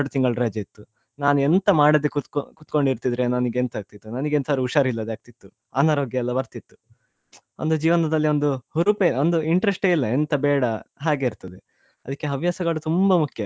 ಎರಡು ತಿಂಗಳು ರಜೆ ಇತ್ತು ನಾನುಎಂತ ಮಾಡದೆ ಕುತ್ಗೋ~ ಕುತ್ಕೊಂಡಿರತಿದ್ರೆ ನಂಗೆ ಎಂತ ಆಗ್ತಿತ್ತು ನನಗೆ ಎಂತದ್ರೂ ಉಷಾರಿಲ್ಲದೆ ಆಗ್ತಿತ್ತು ಅನಾರೋಗ್ಯ ಎಲ್ಲ ಬರ್ತಿತ್ತು ಒಂದು ಜೀವನದಲ್ಲಿ ಒಂದು ಹುರುಪೆ ಒಂದು interest ಯೇ ಇಲ್ಲ ಎಂತ ಬೇಡ ಹಾಗೆ ಇರ್ತದೆ ಅದಕ್ಕೆ ಹವ್ಯಾಸಗಳು ತುಂಬಾ ಮುಖ್ಯ.